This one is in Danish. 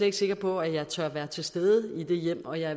ikke sikker på at jeg tør være til stede i de hjem og jeg